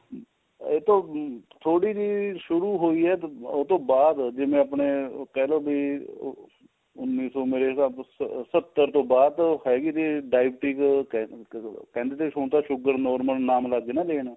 ਇਹ ਤੋਂ ਥੋੜੀ ਜੀ ਸ਼ੁਰੂ ਹੋਈ ਏ ਉਹਤੋ ਬਾਅਦ ਜਿਵੇਂ ਆਪਣੇ ਕਹਿ ਲੋ ਬੀ ਉੰਨੀ ਸੋ ਮੇਰੇ ਹਿਸਾਬ ਸਤਰ ਤੋਂ ਬਾਅਦ ਹੈਗੀ ਸੀ diabetes ਕਹਿ ਦਿੰਦੇ ਹੁਣ ਤਾਂ sugar normal ਨਾਮ ਲੱਗ ਗਏ ਨਾ ਲੈਣ